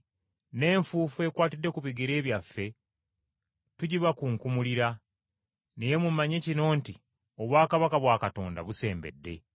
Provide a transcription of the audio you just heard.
‘N’enfuufu ekwatidde ku bigere byaffe tugibakunkumulira. Naye mumanye kino nti obwakabaka bwa Katonda busembedde.’